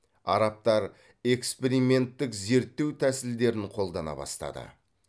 арабтар эксперименттік зерттеу тәсілдерін қолдана бастады